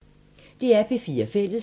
DR P4 Fælles